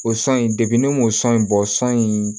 O san in ne m'o san in bɔ san in